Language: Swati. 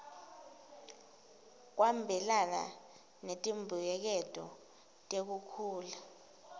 kwabelana ngetimbuyeketo tekukhula